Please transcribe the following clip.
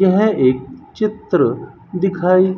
यह एक चित्र दिखाई